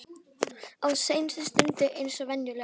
Á seinustu stundu eins og venjulega.